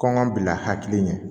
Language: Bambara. Kɔn ka bila hakili ɲɛ